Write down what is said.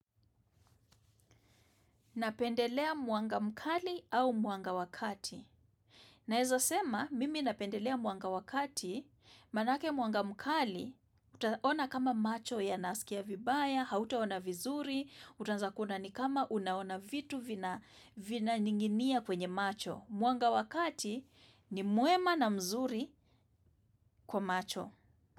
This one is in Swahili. Napendelea mwanga mkali au mwanga wa kati. Naeza sema, mimi napendelea mwanga wa kati, maanake mwanga mkali, utaona kama macho yanasikia vibaya, hautaona vizuri, utaanza kuona ni kama unaona vitu vina vinaninginia kwenye macho. Muanga wakati ni muema na mzuri kwa macho.